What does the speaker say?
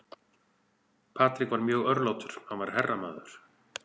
Patrick var mjög örlátur, hann var herramaður.